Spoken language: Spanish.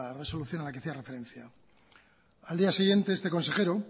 resolución a la que hacía referencia al día siguiente este consejero